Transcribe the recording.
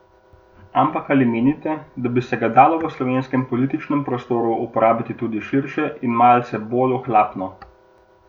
Ampak ali menite, da bi se ga dalo v slovenskem političnem prostoru uporabiti tudi širše in malce bolj ohlapno?